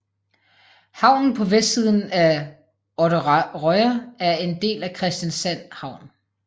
Havnen på vestsiden af Odderøya er en del af Kristiansand Havn